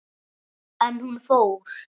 En hún fór.